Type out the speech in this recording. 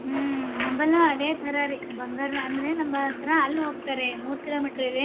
ಹಾ ನಮ್ಮಲ್ಲೂ ಅದೇ ಥರರೀ ಬಂಗಾರನ ಅಂದ್ರೆ ಹೋಗ್ತಾರೆ. ಮೂರ್ kilometer